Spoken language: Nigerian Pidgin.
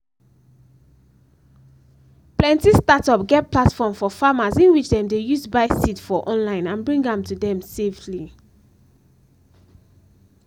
plenty startup get platform for farmers in which dem dey use buy seed for online and bring am to dem safely